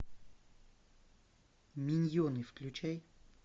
миньоны включай